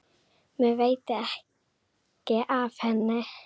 Mér veitir ekki af henni.